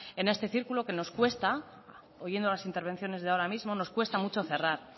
en este círculo que nos cuesta oyendo las intervenciones de ahora mismo nos cuesta mucho cerrar